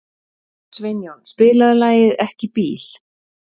Sveinjón, spilaðu lagið „Ekki bíl“.